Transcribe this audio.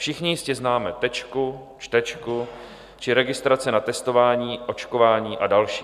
Všichni jistě známe Tečku, Čtečku či registrace na testování, očkování a další.